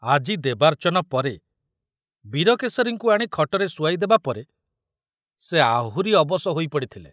ଆଜି ଦେବାର୍ଚ୍ଚନ ପରେ ବୀରକେଶରୀଙ୍କୁ ଆଣି ଖଟରେ ଶୁଆଇ ଦେବାପରେ ସେ ଆହୁରି ଅବଶ ହୋଇପଡ଼ିଥିଲେ।